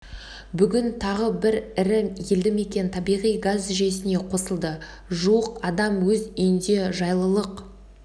бүгін тағы бір ірі елді мекен табиғи газ жүйесіне қосылды жуық адам өз үйінде жайлылық